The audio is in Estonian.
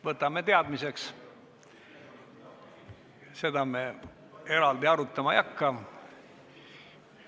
Võtame teadmiseks, seda me eraldi arutama ei hakka.